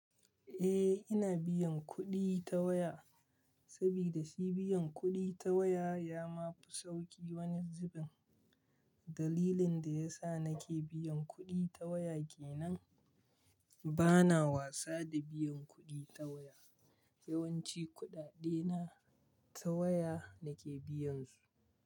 Eh, ina biyan kuɗi ta waya saboda shi biyan kuɗi ta waya ya ma fi sauƙi wani zubin. Dalilin da ya sa nake biyan kuɗi ta waya ke nan. Bana wasa da biyan kuɗi ta waya. Yawanci kuɗaɗe na ta waya nake biyan su.